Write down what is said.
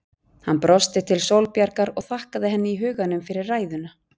Hann brosti til Sólborgar og þakkaði henni í huganum fyrir ræðuna.